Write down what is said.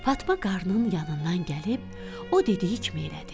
Fatma qarının yanından gəlib, o dediyi kimi elədi.